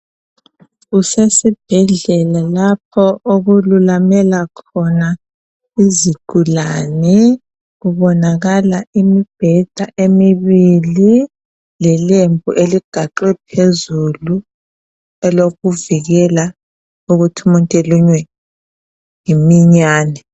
Kusesibhedlela lapho okululamela khona izigulane, kubonakala imibheda emibili lelembu eligaxwe phezulu elovikela ukuthi umuntu elunywe yiminyane.